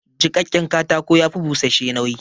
Jiƙaƙƙen katako ya fi bushash-she nauyi